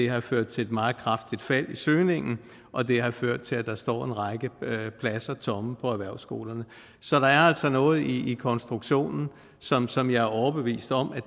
har ført til et meget kraftigt fald i søgningen og det har ført til at der står en række pladser tomme på erhvervsskolerne så der er altså noget i konstruktionen som som jeg er overbevist om